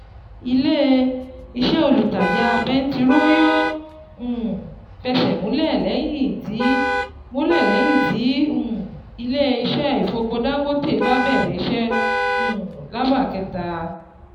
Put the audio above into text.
Ilé-iṣẹ́ olùtajà bẹntiró yóò um fẹsẹ̀ múlẹ̀ lẹ́yìn tí múlẹ̀ lẹ́yìn tí um ilé-iṣẹ́ ìfọpo Dangote bá bẹ̀rẹ̀ iṣẹ́ um lába kẹ́ta.